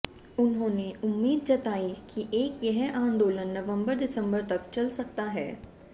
उन्होंने उम्मीद जताई कि एक यह आंदोलन नवंबर दिसंबर तक चल सकता है